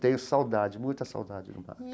Tenho saudade, muita saudade do Max.